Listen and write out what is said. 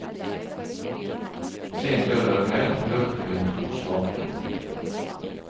Sent lørdag kveld hørte hun to svake dunk.